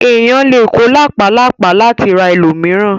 Èèyàn lè kó làpálàpá láti ra ẹlòmíràn.